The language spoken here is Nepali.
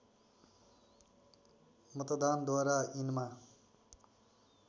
मतदानद्वारा यिनमा